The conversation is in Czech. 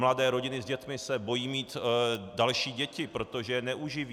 Mladé rodiny s dětmi se bojí mít další děti, protože je neuživí.